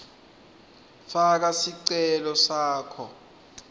faka sicelo sakho